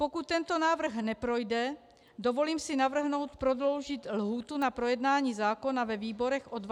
Pokud tento návrh neprojde, dovolím si navrhnout prodloužit lhůtu na projednání zákona ve výborech o 20 dní.